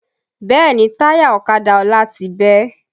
Bẹ́ẹ̀ni táyà ọ̀kadà Ọlá ti bẹ́